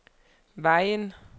Vejen